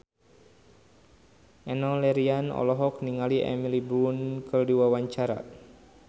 Enno Lerian olohok ningali Emily Blunt keur diwawancara